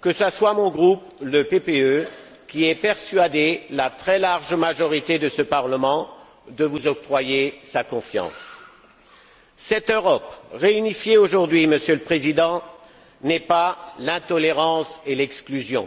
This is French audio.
que ce soit mon groupe, le PPE, qui ait persuadé la très large majorité de ce Parlement de vous octroyer sa confiance. Cette Europe, réunifiée aujourd'hui, n'est pas l'intolérance et l'exclusion,